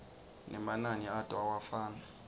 nemanani ato awafani